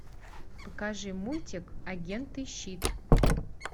покажи мультик агенты щит